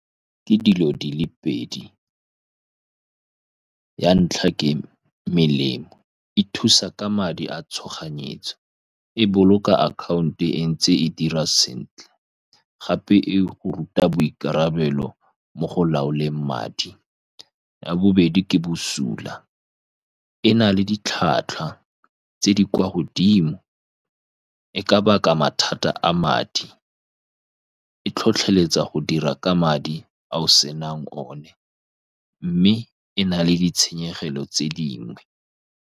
Ke dilo di le pedi. Ya ntlha, ke melemo, e thusa ka madi a tshoganyetso, e boloka account-o e ntse e dira sentle, gape e go ruta boikarabelo mo go laoleng madi. Ya bobedi, ke bosula, e na le ditlhwatlhwa tse di kwa godimo. E ka baka mathata a madi, e tlhotlheletsa go dira ka madi a o senang o ne, mme e na le ditshenyegelo tse dingwe.